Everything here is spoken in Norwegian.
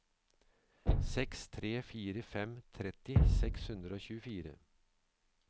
seks tre fire fem tretti seks hundre og tjuefire